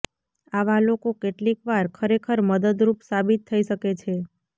આવા લોકો કેટલીકવાર ખરેખર મદદરૂપ સાબિત થઈ શકે છે